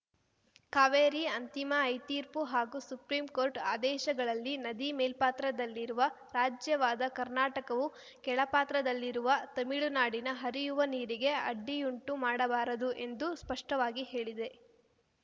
ಕಾವೇರಿ ಅಂತಿಮ ಐತೀರ್ಪು ಹಾಗೂ ಸುಪ್ರಿಂ ಕೋರ್ಟ್‌ ಆದೇಶಗಳಲ್ಲಿ ನದಿ ಮೇಲ್ಪಾತ್ರದಲ್ಲಿರುವ ರಾಜ್ಯವಾದ ಕರ್ನಾಟಕವು ಕೆಳ ಪಾತ್ರದಲ್ಲಿರುವ ತಮಿಳುನಾಡಿನ ಹರಿಯುವ ನೀರಿಗೆ ಅಡ್ಡಿಯುಂಟು ಮಾಡಬಾರದು ಎಂದು ಸ್ಪಷ್ಟವಾಗಿ ಹೇಳಿದೆ